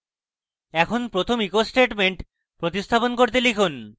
এখন প্রথম echo statement প্রতিস্থাপন করে লিখুন: